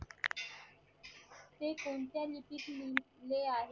ते कोणत्या नीतीशी गुंतले आहेत